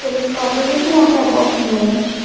list of the observation of the above image.